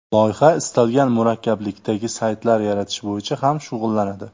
Loyiha istalgan murakkablikdagi saytlar yaratish bo‘yicha ham shug‘ullanadi.